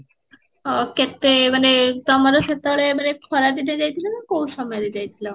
ଅଃ କେତେ ମାନେ ତମର ସେତେ ବେଳେ ଏବେ ଖରା ଦିନେ ଯାଇଥିଲ ନା କୋଉ ସମୟ ରେ ଯାଇଥିଲ?